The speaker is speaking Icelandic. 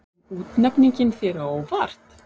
Kom útnefningin þér á óvart?